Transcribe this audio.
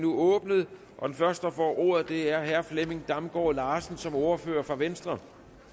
åbnet den første der får ordet er herre flemming damgaard larsen som ordfører for venstre